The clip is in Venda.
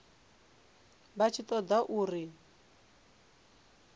vha tshi ṱo ḓa uri